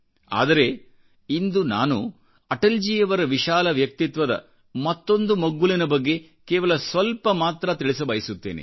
ಆದರೆ ಇಂದು ನಾನು ಅಟಲ್ ಜಿಯವರ ವಿಶಾಲ ವ್ಯಕ್ತಿತ್ವದ ಮತ್ತೊಂದು ಮಗ್ಗುಲಿನ ಬಗ್ಗೆ ಕೇವಲ ಸ್ವಲ್ಪ ಮಾತ್ರತಿಳಿಸಬಯಸುತ್ತೇನೆ